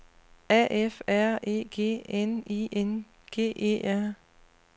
A F R E G N I N G E R